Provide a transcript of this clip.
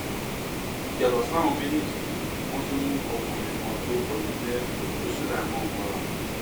yàtọ sáwọn méjèèjì yìí wọn tún mú ọkùnrin kan tórúkọ ẹ ń jẹ ọjọ sulaimon mọra